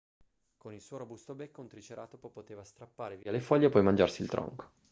con il suo robusto becco un triceratopo poteva strappare via le foglie e poi mangiarsi il tronco